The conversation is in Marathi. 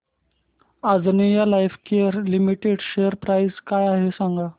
Anjaneya Lifecare Limited share price काय आहे सांगा